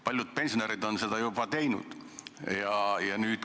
Paljud pensionärid on seda juba teinud.